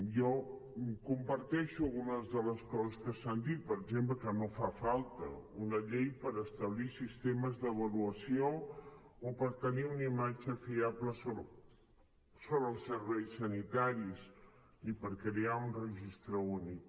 jo comparteixo algunes de les coses que s’han dit per exemple que no fa falta una llei per establir sistemes d’avaluació o per tenir una imatge fiable sobre els serveis sanitaris ni per crear un registre únic